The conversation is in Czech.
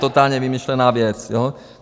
Totálně vymyšlená věc.